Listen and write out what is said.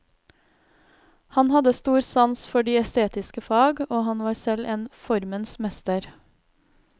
Han hadde stor sans for de estetiske fag, og han var selv en formens mester.